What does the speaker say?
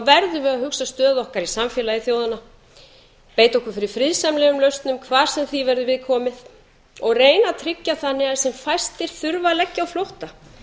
verðum við að hugsa stöðu okkar í samfélagi þjóðanna beita okkur fyrir friðsamlegum lausnum hvar sem því verður við komið að reyna að tryggja þannig að sem fæstir þurfi að leggja á flótta